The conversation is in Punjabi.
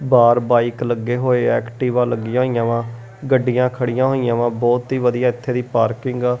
ਬਾਹਰ ਬਾਈਕ ਲੱਗੇ ਹੋਏ ਐਕਟੀਵਾ ਲੱਗੀਆਂ ਹੋਈਆਂ ਵਾ ਗੱਡੀਆਂ ਖੜੀਆਂ ਹੋਈਆਂ ਵਾ ਬਹੁਤ ਹੀ ਵਧੀਆ ਇੱਥੇ ਦੀ ਪਾਰਕਿੰਗ ਆ।